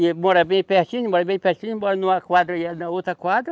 E ele mora bem pertinho, mora bem pertinho, mora numa quadra e aí na outra quadra.